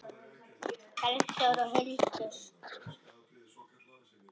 Bergþór og Hildur.